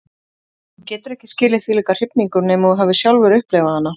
Þú getur ekki skilið þvílíka hrifningu nema þú hafir sjálfur upplifað hana.